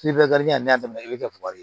n'a daminɛna i bɛ kɛ fugari ye